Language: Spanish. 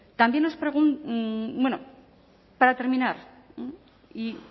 también bueno para terminar